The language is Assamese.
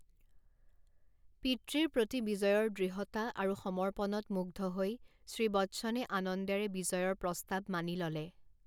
পিতৃৰ প্ৰতি বিজয়ৰ দৃঢ়তা আৰু সমৰ্পণত মুগ্ধ হৈ শ্ৰী বচ্চনে আনন্দেৰে বিজয়ৰ প্ৰস্তাৱ মানি ল'লে।